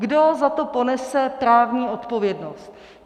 Kdo za to ponese právní odpovědnost?